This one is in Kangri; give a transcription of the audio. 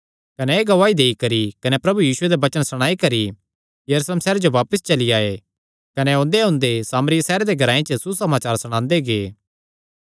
कने एह़ गवाही देई करी कने प्रभु यीशुये दे वचन सणाई करी यरूशलेम सैहरे जो बापस चली आये कने ओंदेओंदे सामरिया सैहरां दे ग्रांऐ च सुसमाचार सणांदे गै